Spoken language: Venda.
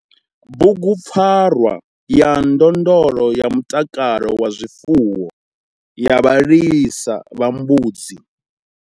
Bugupfarwa ya ndondolo ya mutakalo wa zwifuwo ya vhalisa vha mbudzi.